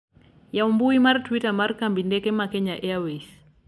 yawu mbui mar twita mar kambi ndeke ma kenya airways